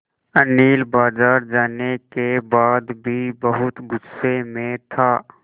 अनिल बाज़ार जाने के बाद भी बहुत गु़स्से में था